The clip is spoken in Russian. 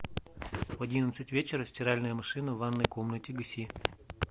в одиннадцать вечера стиральная машина в ванной комнате гаси